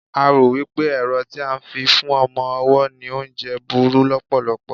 a ro wipe ẹrọ ti a fi n fún ọmọ ọwọ ni oúnje buru lopolopo